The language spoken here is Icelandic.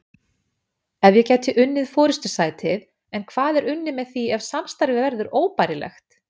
Eflaust gæti ég unnið forystusætið en hvað er unnið með því ef samstarfið verður óbærilegt?